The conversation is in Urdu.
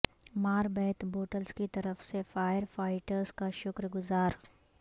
ماربیت بوٹلز کی طرف سے فائر فائٹرز کا شکر گزار